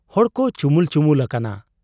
ᱦᱚᱲᱠᱚ ᱪᱩᱢᱩᱞ ᱪᱩᱢᱩᱞ ᱟᱠᱟᱱᱟ ᱾